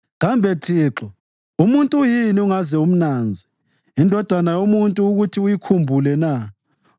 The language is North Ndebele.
Kambe Thixo, umuntu uyini ungaze umnanze, indodana yomuntu ukuthi uyikhumbule na?